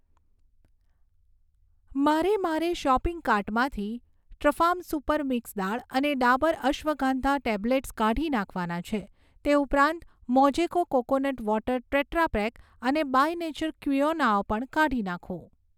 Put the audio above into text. મારે મારા શોપિંગ કાર્ટમાંથી ટ્રૂફાર્મ સુપર મિક્સ દાળ અને ડાબર અશ્વગંધા ટેબ્લેટ્સ કાઢી નાખવાના છે તે ઉપરાંત મોજેકો કોકોનટ વોટર ટેટ્રાપેક અને બાય નેચર ક્વિનોઆ પણ કાઢી નાખો